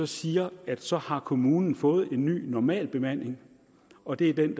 siger at så har kommunen fået en ny normalbemanding og det er den